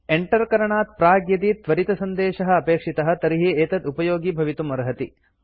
Enter करणात् प्राक् यदि त्वरितसन्देशः अपेक्षितः तर्हि एतत् उपयोगि भवितुम् अर्हति